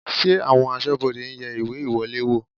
Ṣé àwọn aṣọ́bodè ń yẹ ìwé ìwọlé wò?